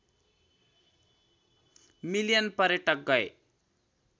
million पर्यटक गए